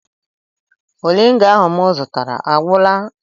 Moringa ahụ m zụtara agwụla?